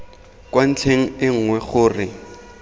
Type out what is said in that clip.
kwa ntlheng e nngwe gore